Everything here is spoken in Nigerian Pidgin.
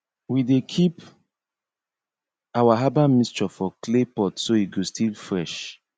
we dey keep our herbal mixture for clay pot so e go still fresh